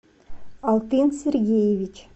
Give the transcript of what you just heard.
алтын сергеевич